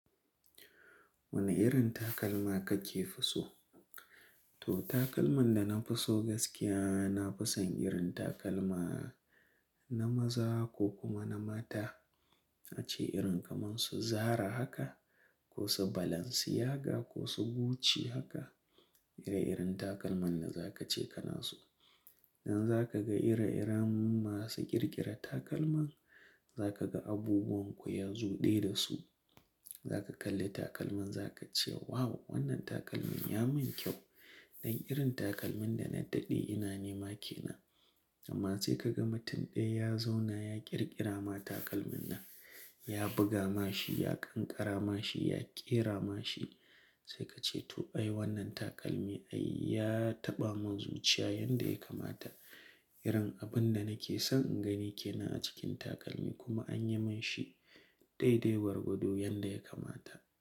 Wane irin takalma kake so? To, takalman da na fi so gaskiya, na fi son irin takalma na maza ko kuma na mata. Na ce irin kaman su Zara haka ko su Balenciaga ko su Gucci haka. Ire-iren takalman da za ka ce kana so. Idan za ka ga ire-iram masu ƙirƙira takalma, za ka ga abubuwan ku ya zo ɗaya da su. Za ka kalli takalman za ka ce, "Wow! Wannan takalmin ya mun kyau." Dan irin takalmin da na daɗe ina nema kenan. Amma sai ka ga mutum ɗaya ya zauna ya ƙirƙira ma takalmin nan, ya buga ma shi, ya ƙanƙara ma shi, ya ƙera ma shi. Sai ka ce, "To ai wannan takalmi ai ya taɓa mun zuciya yanda ya kamata." Irin abun da nake son in gani ke nan a cikin takalmi kuma an yi mun shi daidai gwargwado yanda ya kamata.